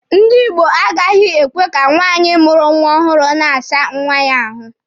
Ndi Igbo agaghị ekwe ka nwaanyị mụrụ nwa ọhụrụ na-asa nwa ya ahụ.